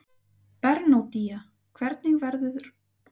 Bernódía, hvernig verður veðrið á morgun?